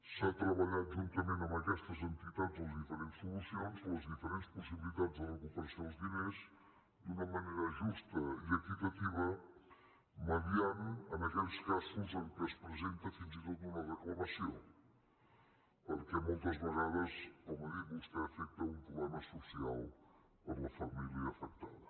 s’han treballat juntament amb aquestes entitats les diferents solucions les diferents possibilitats de recuperació dels diners d’una manera justa i equitativa i s’ha mitjançat en aquells casos en què es presenta fins i tot una reclamació perquè moltes vegades com ha dit vostè afecta un problema social per a la família afectada